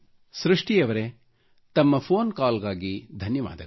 ಸೃಷ್ಟಿ ಅವರೆ ತಮ್ಮ ಫೋನ್ ಕಾಲ್ ಗಾಗಿ ಧನ್ಯವಾದಗಳು